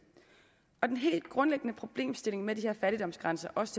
den helt grundlæggende problemstilling med de her fattigdomsgrænser også